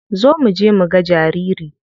Zo muje muga jariri.